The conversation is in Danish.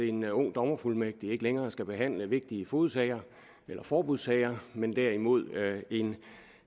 en ung dommerfuldmægtig ikke længere skal behandle vigtige fogedsager eller forbudssager men derimod en